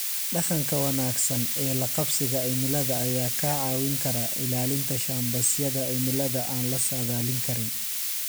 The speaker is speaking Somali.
Dhaqanka wanaagsan ee la qabsiga cimilada ayaa kaa caawin kara ilaalinta shambasyada cimilada aan la saadaalin karin.